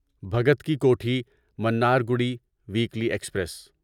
Bhagat ki Kothi Mannargudi weekly express